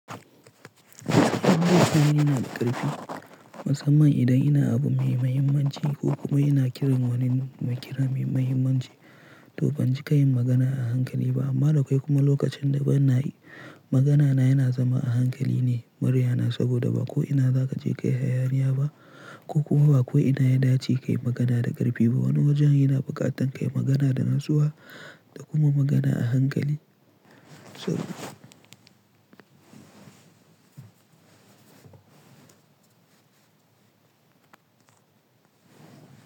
In dai zan yi magana da ƙarfi, musamman idan ina abu mai mahimmanci ko kuma ina kiran wani mai kira mai mahimmanci, to ban ji kayayi magana a hankali ba. Amma da kwai kuma lokacin da bana yi, magana na yana zama a hankali ne, muryana saboda ba ko ina za ka je ka yi hayaniya ba, ko kuma ba ko ina ya dace kayi magana da ƙarfi ba. Wani wajen yana buƙatar kayi magana da natsuwa da kuma magana a hankali.